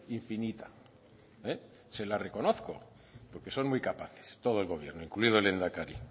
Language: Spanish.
infinita se la reconozco porque son muy capaces todo el gobierno incluido el lehendakari